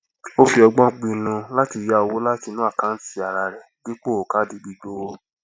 ó fi ọgbọn pinnu láti yá owó láti inú àkántì ara rẹ dípò káàdì gbígbówó